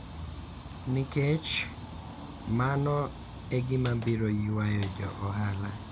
Nikech, mano e gima biro ywayo jo ohala .